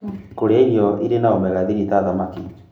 Kũrĩa irio irĩ na omega-3 ta thamaki